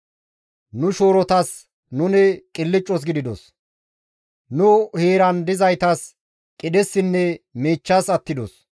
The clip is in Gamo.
Nu shoorotas nuni qilccas gididos; nu heeran dizaytas qidhessinne miichchas attidos.